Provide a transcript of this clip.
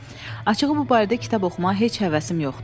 "Açığı bu barədə kitab oxumağa heç həvəsim yoxdur."